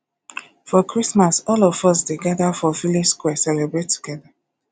for christmas all of us dey gada for village square celebrate togeda